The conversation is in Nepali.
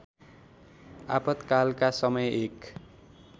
आपतकालका समय एक